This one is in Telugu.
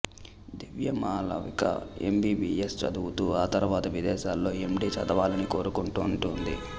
దివ్య మాళవిక ఎంబీబీఎస్ చదువుతూ ఆ తర్వాత విదేశాల్లో ఎండీ చదవాలని కోరుకుంటుంటుంది